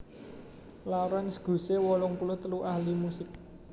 Lawrence Gushee wolung puluh telu ahli musik